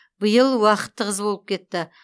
биыл уақыт тығыз болып кетті